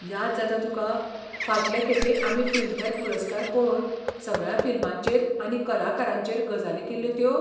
याद जाता तुका, फाटले खेपे आमी फिल्मफॅर पुरस्कार पळोवन सगळ्या फिल्मांचेर आनी कलाकारांचेर गजाली केल्ल्यो त्यो?